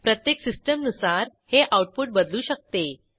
प्रत्येक सिस्टीमनुसार हे आऊटपुट बदलू शकते